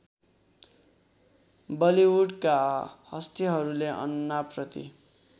बलिवुडका हस्तीहरूले अन्नाप्रति